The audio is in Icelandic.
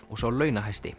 og sá